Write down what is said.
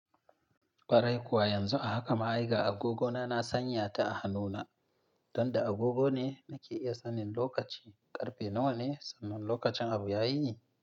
Kwarai kuwa yanzu haka ma ai ga agogona na sanya ta a hannuna, don da agogo ne na ke iya sanin lokaci. Karfe nawa ne? Sanin lokacin abu ya yi.